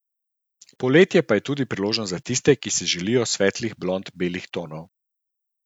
Poletje pa je tudi priložnost za tiste, ki si želijo svetlih blond belih tonov.